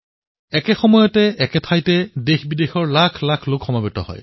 একে সময়তে এটা স্থানতে দেশবিদেশৰ লক্ষকোটি লোক মিলিত হয়